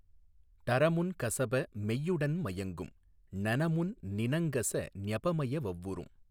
டறமுன் கசப மெய்யுடன் மயங்கும் ணனமுன் னினங்கச ஞபமய வவ்வரும்.